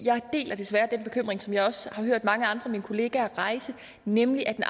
jeg deler desværre den bekymring som jeg også har hørt mange andre af mine kolleger have nemlig at en